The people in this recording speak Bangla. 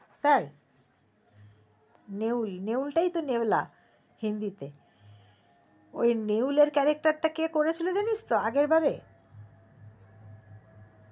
তাই নেউল নেউল টাই তো নেওলা হিন্দি তে ওই নেউলের character টা কে করেছিল জানিসতো আগের বাড়ে